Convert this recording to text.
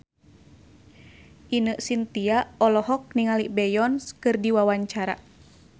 Ine Shintya olohok ningali Beyonce keur diwawancara